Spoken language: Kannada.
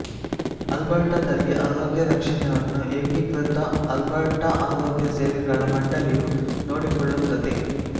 ಆಲ್ಬರ್ಟಾದಲ್ಲಿ ಆರೋಗ್ಯ ರಕ್ಷಣೆಯನ್ನು ಏಕೀಕೃತ ಆಲ್ಬರ್ಟಾ ಆರೋಗ್ಯ ಸೇವೆಗಳ ಮಂಡಳಿಯು ನೋಡಿಕೊಳ್ಳುತ್ತದೆ